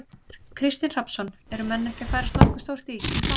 Kristinn Hrafnsson: Eru menn ekki að færast nokkuð stórt í, í fang?